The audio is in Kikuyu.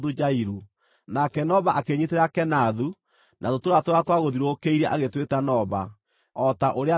Nake Noba akĩĩnyiitĩra Kenathu, na tũtũũra tũrĩa twagũthiũrũrũkĩirie agĩtwĩta Noba, o ta ũrĩa we eetagwo.